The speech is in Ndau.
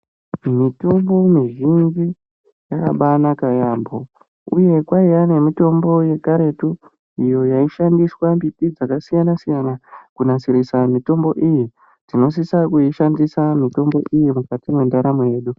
Mitombo mizhinji yakabanaka yambo uye kwaiva nemitombo yekaretu iyo yaishandiswa mbiti dzakasiyana siyana kunasirirsa mitombo iyi tinosisa kuishandisa mitombo iyi mukati mendaramo yedu.